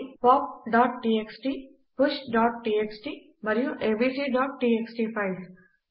అవి poptxtpushటీఎక్స్టీ మరియు abcటీఎక్స్టీ ఫైల్స్